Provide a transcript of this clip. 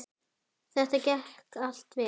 Þetta gekk allt vel.